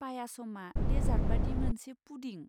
पायासमआ dessert बादि मोनसे पुडिं।